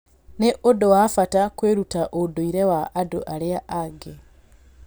Nĩ ũndũ wa bata kwĩruta ũndũire wa andũ arĩa angĩ.